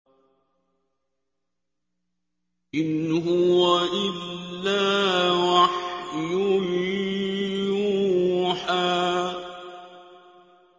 إِنْ هُوَ إِلَّا وَحْيٌ يُوحَىٰ